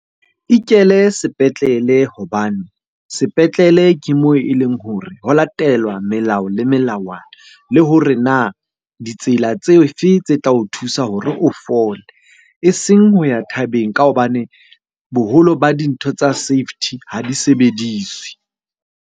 Ikele sepetlele hobane sepetlele ke moo e leng hore ho latelwa melao le melawana. Le hore na ditsela tse fe tse tla o thusa hore o fole? Eseng ho ya thabeng ka hobane boholo ba dintho tsa safety ha di sebediswe.